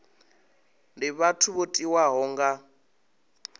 ndi vhathu vho tiwaho nga